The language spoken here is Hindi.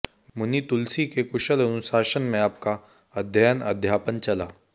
मुनि तुलसी के कुशल अनुशासन में आपका अध्ययन अध्यापन चला